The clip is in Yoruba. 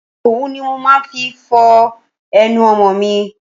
Òwú ni mo máa ń fi ń fọ ẹnu ọmọ mi.